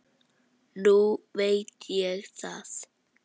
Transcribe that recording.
Nú veit ég það.